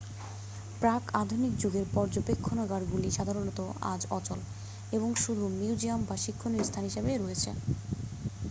প্রাক-আধুনিক যুগের পর্যবেক্ষণাগারগুলি সাধারণত আজ অচল এবং শুধু মিউজিয়াম বা শিক্ষণীয় স্থান হিসেবে রয়েছে